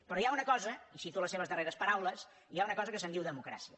però hi ha una cosa i cito les seves darreres paraules que se’n diu democràcia